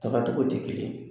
ttaga tɔgɔ tɛ kelen ye.